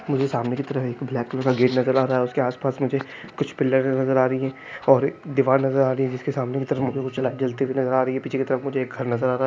मुझे सामने की तरफ एक ब्लैक कलर का गेट नजर आ रहा है उसके आसपास मुझे कुछ पिलर्स नजर आ रही है और एक दीवार नजर आ रही है जिसके सामने की तरफ मुझे लाइट जलती हुई नजर आ रही है पीछे की तरफ मुझे एक घर नजर आ रहा है।